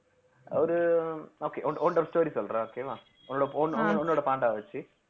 ஒரு okay உன்ட்ட உன்ட்ட ஒரு story சொல்றேன் okay வா உன்னோட உன்~ உன்னோட பாண்டாவ வச்சு